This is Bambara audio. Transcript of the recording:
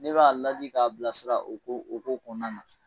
Ne b'a ladi k'a bilasira o ko o ko kɔnɔna na.